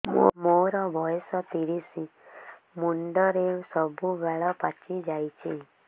ମୋର ବୟସ ତିରିଶ ମୁଣ୍ଡରେ ସବୁ ବାଳ ପାଚିଯାଇଛି